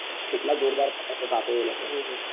એટલા જોરદાર પતંગ ઓ કાપે એ લોકો એ પછી કોઈ ને ચગવા જ નઈ દેતા હોય ને પછી